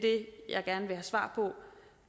jeg gerne vil have svar på